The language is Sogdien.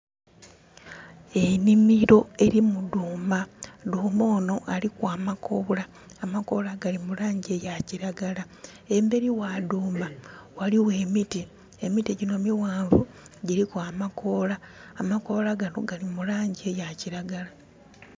Enimiro erimu dhuuma. Dhuuma ono aliku amakoola, amakoola gali mulangi ya kiragala. Emberi wa dhuuma waliwo emiti. Emiti gino miwanvu giriku amakoola. Amakoola gano gali mulangi eya kiragala.